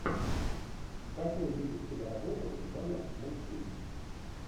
хочу увидеть киноработу жанр мультфильм